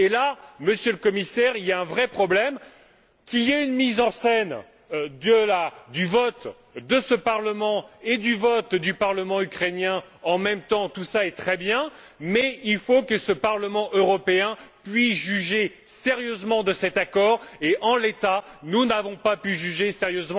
Il y a là, Monsieur le Commissaire, il y a un vrai problème. Qu'il y ait une mise en scène du vote de ce Parlement et du vote du Parlement ukrainien en même temps, tout ceci est très bien. Mais il faut que ce Parlement européen puisse juger sérieusement de cet accord. Or, en l'état, nous n'avons pas pu le faire.